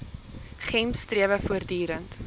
gems strewe voortdurend